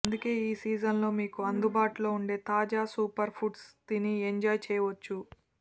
అందుకే ఈ సీజన్ లో మీకు అందుబాటులో ఉండే తాజా సూపర్ ఫుడ్స్ తిని ఎంజాయ్ చేయవచ్చు